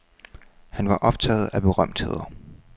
Han var optaget af berømtheder.